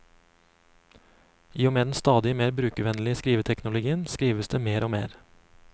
I og med den stadig mer brukervennlige skriveteknologien, skrives det mer og mer.